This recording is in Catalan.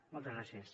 moltes gràcies